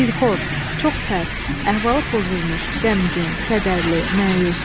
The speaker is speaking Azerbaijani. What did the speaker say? Dilxor, çox pərt, əhvalı pozulmuş, qəmgin, kədərli, məyus.